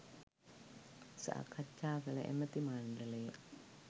සාකච්ඡා කළ ඇමති මණ්ඩලය